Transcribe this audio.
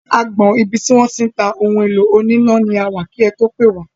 Agbọn ibi tí wọ́n ti ń ta ohun èlò oní iná ni a wà kí ẹ tó pè wá.